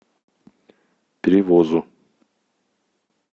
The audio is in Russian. перевозу